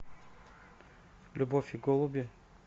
любовь и голуби